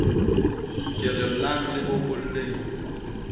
ke re llang le bokolleng